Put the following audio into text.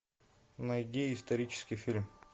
найди исторический фильм